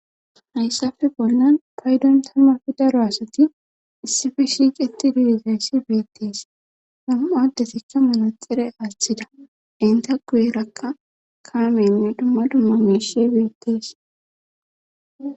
hayssafe bolnan paydon tammafi daro asati issifi shiiqeti diigayssi beettees nam7addesikka malaxire aaththida inta guyerakka kaamenne dumma dumma meshe beettees